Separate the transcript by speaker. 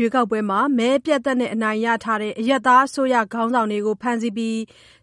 Speaker 1: ရွေးကောက်ပွဲမှာ မဲအပြတ်အသတ်နဲ့ အနိုင်ရထားတဲ့ အရပ်သားအစိုးရ ခေါင်းဆောင်တွေကို ဖမ်းဆီးပြီး